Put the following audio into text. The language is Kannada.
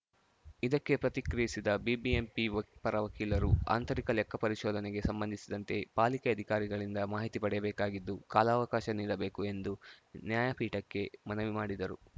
ಇದಕ್ಕೆ ಪ್ರತಿಕ್ರಿಯಿಸಿದ ಬಿಬಿಎಂಪಿ ಪರ ವಕೀಲರು ಆಂತರಿಕ ಲೆಕ್ಕ ಪರಿಶೋಧನೆಗೆ ಸಂಬಂಧಿಸಿದಂತೆ ಪಾಲಿಕೆ ಅಧಿಕಾರಿಗಳಿಂದ ಮಾಹಿತಿ ಪಡೆಯಬೇಕಾಗಿದ್ದು ಕಾಲಾವಕಾಶ ನೀಡಬೇಕು ಎಂದು ನ್ಯಾಯಪೀಠಕ್ಕೆ ಮನವಿ ಮಾಡಿದರು